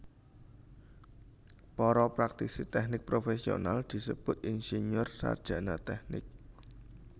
Para praktisi tèknik profèsional disebut insinyur sarjana tèknik